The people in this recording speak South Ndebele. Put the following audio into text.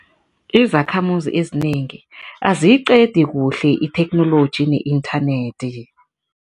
Izakhamuzi ezinengi aziyiqedi kuhle itheknoloji ne-internet.